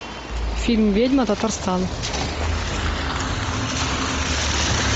фильм ведьма татарстан